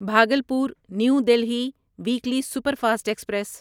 Bhagalpur new Delhi weekly superfast express